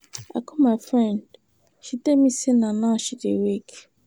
I call my friend, she tell me say na now she dey wake.